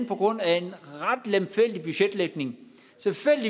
på grund af en ret lemfældig budgetlægning